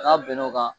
N'a bɛn n'o kan